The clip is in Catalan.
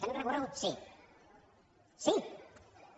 tenim recorregut sí sí